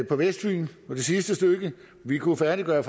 på vestfyn på det sidste stykke vi kunne færdiggøre